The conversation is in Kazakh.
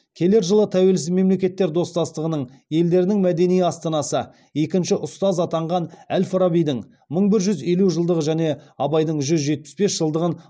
келер жылы тәуелсіз мемлекеттер достастығының елдерінің мәдени астанасы екінші ұстаз атанған әл фарабидің мың бір жүз елу жылдығы және абайдың жүз жетпіс бес жылдығын